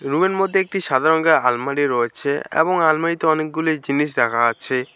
রুমের মধ্যে একটি সাদা রঙের আলমারি রয়েছে এবং আলমারিতে অনেকগুলি জিনিস রাখা আছে।